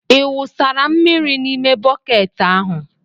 Ị wụsara mmiri n'ime bọket ahụ?